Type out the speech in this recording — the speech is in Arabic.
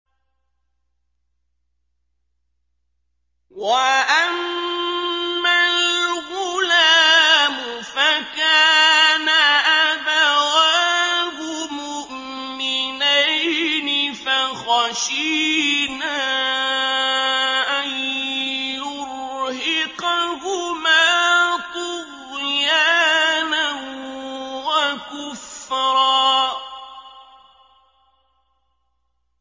وَأَمَّا الْغُلَامُ فَكَانَ أَبَوَاهُ مُؤْمِنَيْنِ فَخَشِينَا أَن يُرْهِقَهُمَا طُغْيَانًا وَكُفْرًا